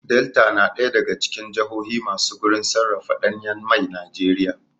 Delta na ɗaya daga cikin jahohi masu gurin sarrafa ɗanyan mai Najeriya